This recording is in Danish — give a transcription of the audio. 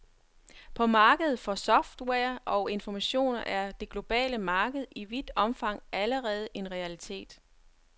På markedet for software og informationer er det globale marked i vidt omfang allerede en realitet.